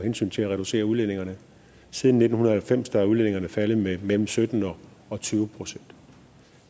hensyn til at reducere udledningerne siden nitten halvfems er udledningerne faldet med mellem sytten og tyve procent